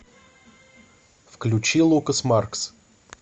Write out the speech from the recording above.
включи лукас маркс